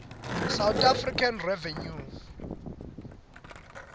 south african revenue